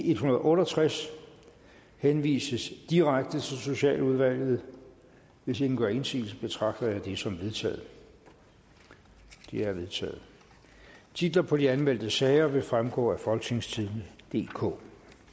en hundrede og otte og tres henvises direkte til socialudvalget hvis ingen gør indsigelse betragter jeg det som vedtaget det er vedtaget titler på de anmeldte sager vil fremgå af folketingstidende DK